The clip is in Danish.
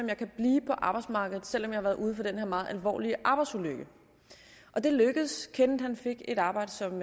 jeg kan blive på arbejdsmarkedet selv om jeg har været ude for den her meget alvorlige arbejdsulykke det lykkedes kenneth fik et arbejde som